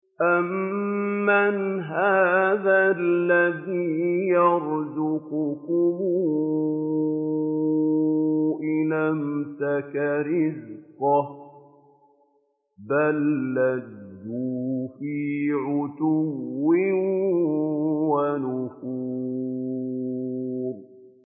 أَمَّنْ هَٰذَا الَّذِي يَرْزُقُكُمْ إِنْ أَمْسَكَ رِزْقَهُ ۚ بَل لَّجُّوا فِي عُتُوٍّ وَنُفُورٍ